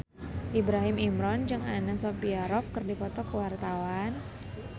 Ibrahim Imran jeung Anna Sophia Robb keur dipoto ku wartawan